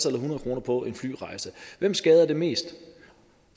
eller hundrede kroner på en flyrejse hvem skader det mest